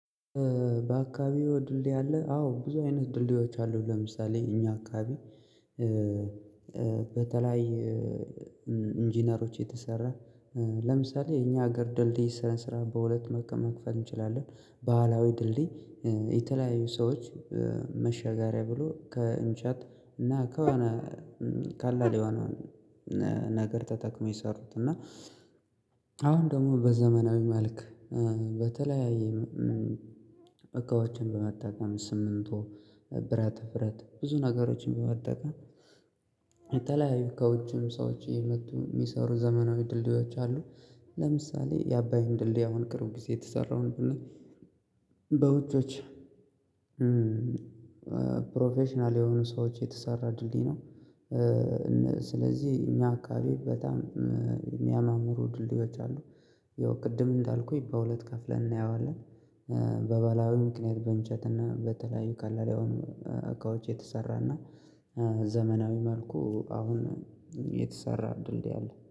በአካባቢው ድልድል ያለ አዎ ብዙ አይነት ድልድሎች አሉ። ለምሳሌ እኛ አካባቢ በተለይ ኢንጂነሮች የተሰራ ለምሳሌ የኛ ሀገር ድልድይ ስረን ስራ በሁለት መከም መክፈት እንችላለን። ባህላዊ ድልድይ የተለያዩ ሰዎች መሸጋገሪያ ብሎ ከእንጨት እና ከሆነ ካለ ሊሆነውን ነገር ተጠቅመው የሰሩት። እና። አሁን ደግሞ በዘመናዊ መልክ በተለያየ እቃዎችን በመጠቀም ስምንቱ ብረት ፍረት ብዙ ነገሮችን በመጠቀም። ካውጭም ሰዎች እየመጡ የሚሰሩ ዘመናዊ ድልድዮች አሉ። ለምሳሌ የአባይን ድልድይ አሁን ቅርብ ጊዜ የተሰራውን ብንል። በውጆች ፕሮፌሽናል የሆኑ ሰዎች የተሰራ ድልድይ ነው። ስለዚህ እኛ አካባቢ በጣም የሚያማምሩ ድልድዮች አሉ። ያው ቅድም እንዳልኩኝ በሁለት ከፍለን እናየዋለን። በበላዊ ምክንያት በእንጨት እና በተለያዩ ካለላያውን እቃዎች የተሰራና ዘመናዊ መልኩ አሁን የተሰራ ድልድይ አለ